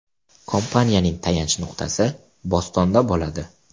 Kompaniyaning tayanch nuqtasi Bostonda bo‘ladi.